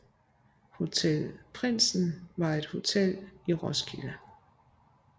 Hotel Prindsen var et hotel i Roskilde